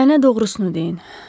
Mənə doğrusunu deyin.